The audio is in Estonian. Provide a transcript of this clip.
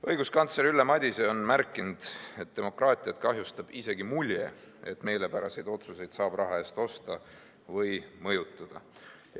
Õiguskantsler Ülle Madise on märkinud, et demokraatiat kahjustab isegi mulje, et meelepäraseid otsuseid saab raha eest osta või mõjutada.